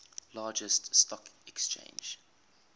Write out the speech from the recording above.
largest stock exchange